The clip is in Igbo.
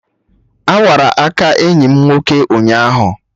Awara aka enyi m nwoke ụnyaahụ